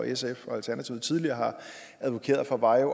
sf og alternativet tidligere har advokeret for var at